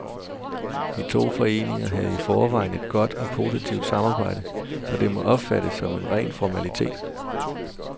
De to foreninger havde i forvejen et godt og positivt samarbejde, så det må opfattes som en ren formalitet.